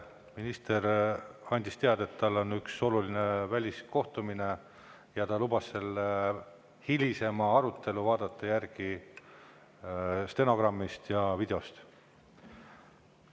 Minister andis teada, et tal on üks oluline väliskohtumine, ja ta lubas selle hilisema arutelu vaadata järgi stenogrammist ja videost.